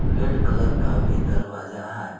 Red colour का भी दरवाजा है।